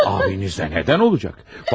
Abinizə nədən olacaq?